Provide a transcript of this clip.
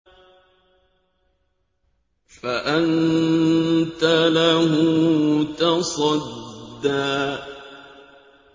فَأَنتَ لَهُ تَصَدَّىٰ